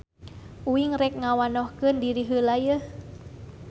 Uing rek ngawnohkeun diri heula yeuh.